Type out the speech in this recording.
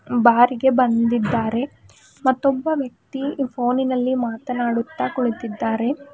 ಬಾರಿಗೆ ಬಂದಿದ್ದಾರೆ ಮತ್ತೊಬ್ಬ ವ್ಯಕ್ತಿ ಫೋನಿನಲ್ಲಿ ಮಾತನಾಡುತ್ತಾ ಕುಳಿತಿದ್ದಾರೆ.